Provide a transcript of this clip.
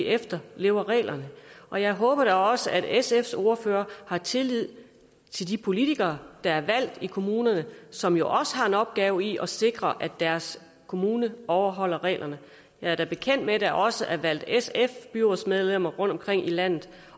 efterlever reglerne og jeg håber da også at sfs ordfører har tillid til de politikere der er valgt i kommunerne som jo også har en opgave i at sikre at deres kommune overholder reglerne jeg er da bekendt med at der også er valgt sf byrådsmedlemmer rundtomkring i landet